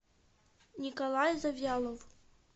николай завьялов